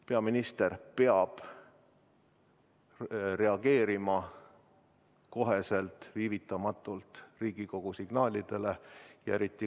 Peaminister peab reageerima otsekohe, viivitamatult Riigikogu signaalidele.